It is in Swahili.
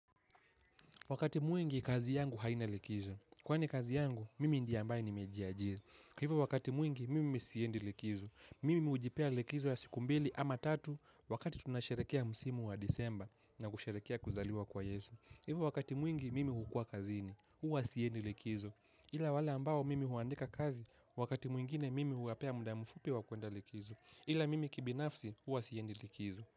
Wakati mwingi, kazi yangu haina likizo. Kwani kazi yangu, mimi ndiye ambaye nimejiajiri. Kwa hivyo wakati mwingi, mimi siendi likizo. Mimi hujipea likizo ya siku mbili ama tatu wakati tunasharekia msimu wa disemba na kusherekea kuzaliwa kwa yesu. Hivyo wakati mwingi, mimi hukuwa kazini. Huwa siendi likizo. Ila wala ambao mimi huandika kazi, wakati mwingine mimi huwapea mda mfupi wa kuenda likizo. Ila mimi kibinafsi, uwa siyendi likizo.